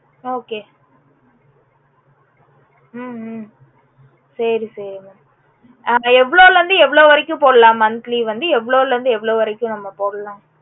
okay ஹம் ஹம் சரி சரி mam எவளோள இருந்து எவளோ வரைக்கும் போடலாம் monthly வந்து எவளோள இருந்து எவளோ வரைக்கும் நம்ப போடல